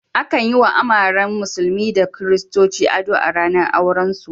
Akan yi wa amaryan musulmi da kiristoci ado a ranar aurensu.